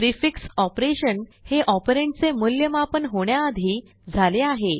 prefix operation हे operand चे मूल्यमापन होण्याआधी झाले आहे